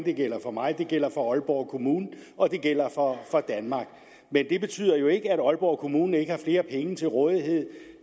det gælder for mig det gælder for aalborg kommune og det gælder for danmark men det betyder ikke at aalborg kommune ikke har flere penge til rådighed